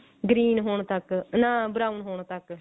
green ਹੋਣ ਤੱਕ ਨਾ brown ਹੋਣ ਤੱਕ